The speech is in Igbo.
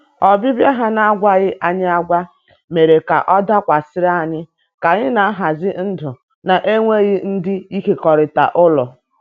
Ọbịbịa ha n’agwaghị anyi agwa mere ka ọ dakwasịrị anyị ka anyị na-ahazi ndụ na-enweghị ndị ịkekọrịta ụlọ.